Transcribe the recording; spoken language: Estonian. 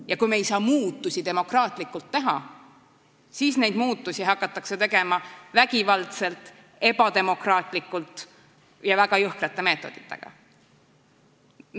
Ja kui me ei saa demokraatlikult muudatusi teha, siis neid muudatusi hakatakse tegema vägivaldselt, ebademokraatlikult ja väga jõhkrate meetoditega.